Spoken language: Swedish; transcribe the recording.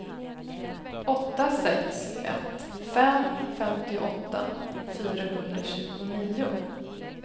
åtta sex ett fem femtioåtta fyrahundratjugonio